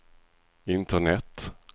internet